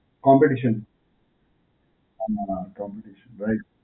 Competition. હાં હાં, Competition right.